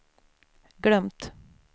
glömt